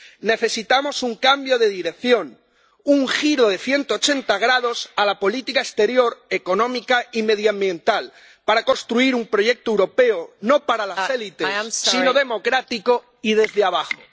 Necesitamos un cambio de dirección, un giro de 180 grados en la política exterior, económica y medioambiental para construir un proyecto europeo, no para las élites, sino democrático y desde abajo.